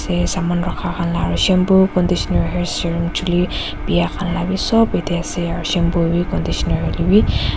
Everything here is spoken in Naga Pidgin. te saman rakha khan la aru shampoo conditioner hair serum chuli biya khan la bi sop yatae ase aru shampoo howi conditioner hoilaebi.